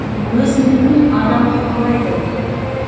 өзіндікін адам қорғайды